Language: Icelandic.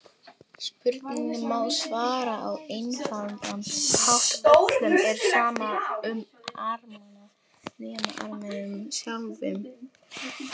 Spurningunni má svara á einfaldan hátt: Öllum er sama um Armena, nema Armenum sjálfum.